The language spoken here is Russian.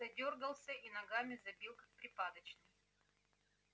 задёргался и ногами забил как припадочный